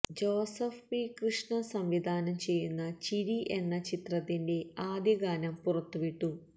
Joseph P Krishna സംവിധാനം ചെയ്യുന്ന ചിരി എന്ന ചിത്രത്തിന്റെ ആദ്യ ഗാനം പുറത്തുവിട്ടു